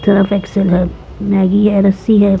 Surf Excel है Maggi है।